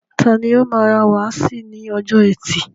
Tani o máa ra wáàsí ní ọjọ́ ẹtì.